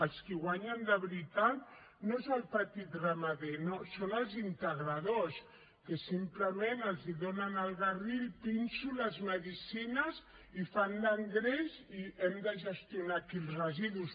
els qui guanyen de veritat no són els petits ramaders no són els integradors a qui simplement els donen el garrí el pinso les medicines i fan l’engreix i hem de gestionar aquí els residus